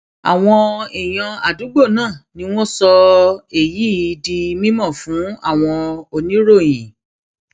àwọn èèyàn àdúgbò náà ni wọn sọ èyí um di mímọ fún àwọn oníròyìn um